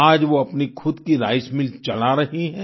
आज वो अपनी खुद की राइस मिल चला रही हैं